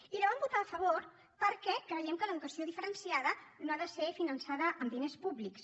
i hi vam votar a favor perquè creiem que l’educació diferenciada no ha de ser finançada amb diners públics